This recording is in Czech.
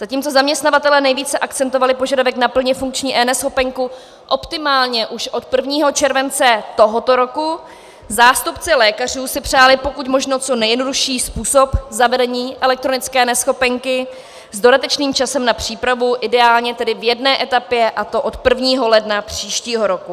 Zatímco zaměstnavatelé nejvíce akcentovali požadavek na plně funkční eNeschopenku optimálně už od 1. července tohoto roku, zástupci lékařů si přáli pokud možno co nejjednodušší způsob zavedení elektronické neschopenky s dodatečným časem na přípravu, ideálně tedy v jedné etapě, a to od 1. ledna příštího roku.